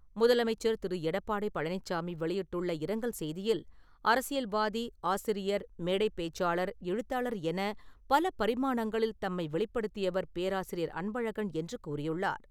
முதலமைச்சர் திரு. எடப்பாடி பழனிச்சாமி வெளியிட்டுள்ள இரங்கல் செய்தியில், அரசியல்வாதி, ஆசிரியர், மேடைபேச்சாளர், எழுத்தாளர் என பல பரிமாணங்களில் தம்மை வெளிப்படுத்தியவர் பேராசிரியர் அன்பழகன் என்று கூறியுள்ளார்.